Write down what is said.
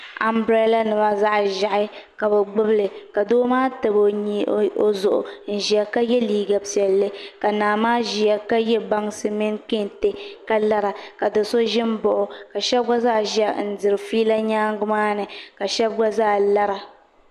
Anbirɛla nima zaɣ ʒiɛhi ka bi gbubili ka doo maa tabi o zuɣu n ʒiya ka yɛ liiga piɛlli ka naa maa ʒiya ka yɛ bansi mini kɛntɛ ka lara ka do so ʒi n baɣa o ka so gba zaa ʒiya n diri fiila nyaangi maa ni ka shan gba zaa lara